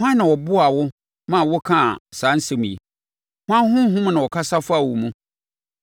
Hwan na ɔboaa wo ma wokaa saa nsɛm yi? Hwan honhom na ɛkasa faa wo mu?